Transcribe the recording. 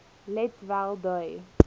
let wel dui